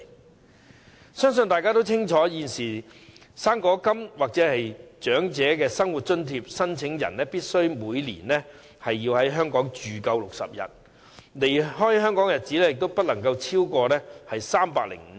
我相信大家皆清楚，"生果金"或長者生活津貼申請人現時每年須在香港居住滿60天，而離港日數亦不得多於305天。